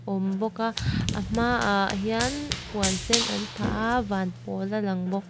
awm bawk a a hma ah hian puan sen an phah a van pawl a lang bawk.